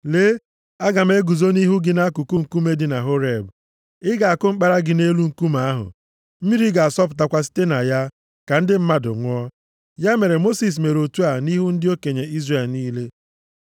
Lee, Aga m eguzo nʼihu gị nʼakụkụ nkume dị na Horeb. Ị ga-akụ mkpara gị nʼelu nkume ahụ. Mmiri ga-asọpụtakwa site na ya, ka ndị mmadụ ṅụọ.” Ya mere, Mosis mere otu a nʼihu ndị okenye Izrel niile.